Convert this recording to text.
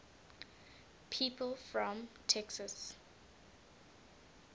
people from texas